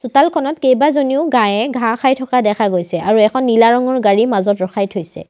চোতালখনত কেইবাজনীও গাইয়ে ঘাঁহ খাই থকা দেখা গৈছে আৰু এখন নীলা ৰঙৰ গাড়ী মাজত ৰখাই থৈছে।